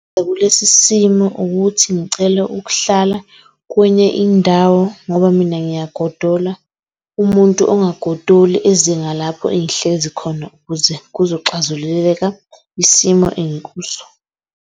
Kulesi simo ukuthi ngicela ukuhlala kwenye indawo, ngoba mina ngiyagodola umuntu ongagodoli eze ngalapho engihlezi khona, ukuze kuzoxazululeka isimo engikuso.